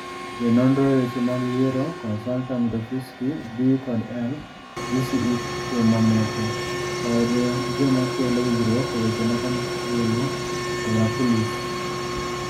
Jononro e weche mag yiero (Consulta mitofisky B&L GCE kuom mamoko) kod jomakolo winjruok eweche mag obulu oraculus.